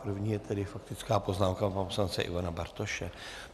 První je tedy faktická poznámka pana poslance Ivana Bartoše.